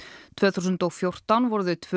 tvö þúsund og fjórtán voru þau tvö